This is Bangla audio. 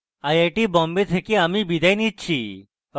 আই আই টী বোম্বে থেকে amal বিদায় নিচ্ছি